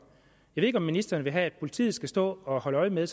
jeg ved ikke om ministeren vil have at politiet skal stå og holde øje med